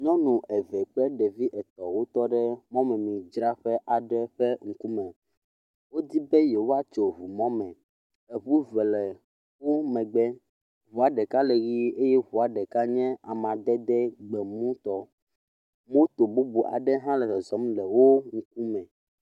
Nyɔnu eve kple ɖevi eve tɔ ɖe mɔmemidzraƒe aɖe ƒe ŋkume. Wodi be yewoatso ŋumɔme. Eŋu ve le wo megbe. Ŋua ɖeka le ʋi eye ŋua ɖeka nye amadede gbemutɔ. Moto bubu aɖe hã le zɔzɔm le wo ŋkume.